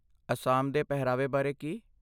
ਅਸਾਮ ਦੇ ਪਹਿਰਾਵੇ ਬਾਰੇ ਕੀ?